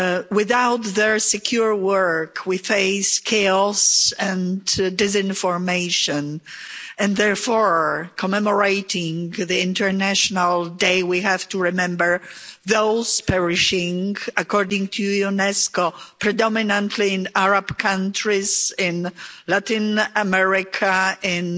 Without their secure work we face chaos and disinformation and therefore, in commemorating the International Day, we have to remember those perishing, according to UNESCO, predominantly in Arab countries, in Latin America, in